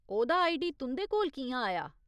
ओह्दा आईडी तुं'दे कोल कि'यां आया ?